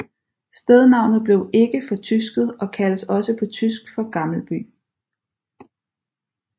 Stednavnet blev ikke fortysket og kaldes også på tysk for Gammelby